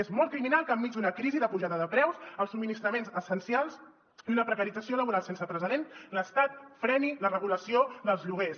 és molt criminal que enmig d’una crisi de pujada de preus dels subministra·ments essencials i una precarització laboral sense precedents l’estat freni la regula·ció dels lloguers